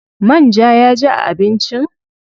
Man ja ya ji a abincin?